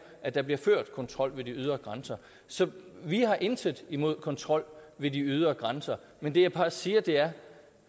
at der bliver ført kontrol ved de ydre grænser så vi har intet imod kontrol ved de ydre grænser men det jeg bare siger er